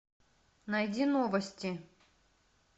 найди новости